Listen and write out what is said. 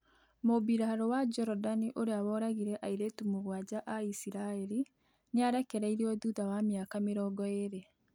Mũbĩrarũ wa jordani ũrĩa woragĩre aĩretu mugwanja ã iciraeri nĩarekereirĩo thũtha wa mĩaka mĩrongo ĩri